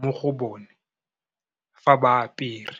mo go bone fa ba apere.